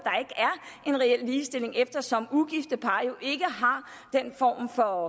en reel ligestilling eftersom ugifte par jo ikke har den form for